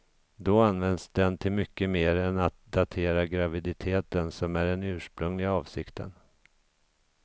Då används den till mycket mer än att datera graviditeten som är den ursprungliga avsikten.